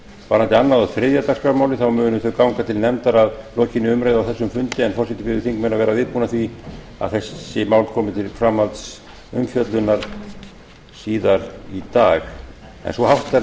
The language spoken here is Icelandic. varðandi annað og þriðja dagskrármálið munu þau ganga til nefndar að lokinni umræðu á þessum fundi en forseti biður þingmenn að vera viðbúna því að þessi mál komi til framhaldsumfjöllunar síðar í dag